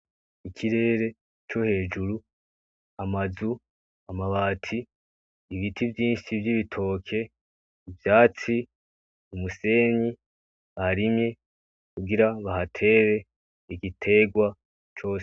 Ikirere co hejuru, amazu amabati ibiti vyinshi vy'ibitoke ivyatsi, umusenyi barimye bagira bahatere igiterwa cose.